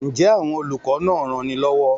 Ǹjẹ́ àwọn olùkọ́ náà ranni lọ́wọ́?